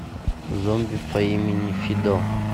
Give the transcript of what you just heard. зомби по имени фидо